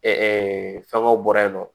fɛngɛw bɔra yen nɔ